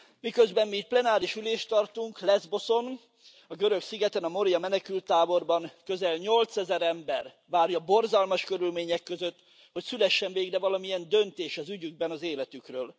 Miközben mi itt plenáris ülést tartunk, Leszboszon, a görög szigeten, a Moria menekülttáborban közel 8000 ember várja borzalmas körülmények között, hogy szülessen végre valamilyen döntés az ügyükben, az életükről.